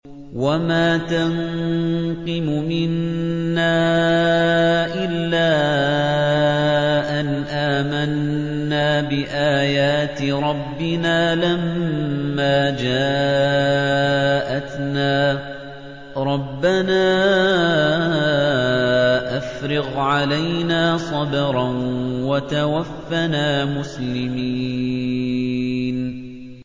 وَمَا تَنقِمُ مِنَّا إِلَّا أَنْ آمَنَّا بِآيَاتِ رَبِّنَا لَمَّا جَاءَتْنَا ۚ رَبَّنَا أَفْرِغْ عَلَيْنَا صَبْرًا وَتَوَفَّنَا مُسْلِمِينَ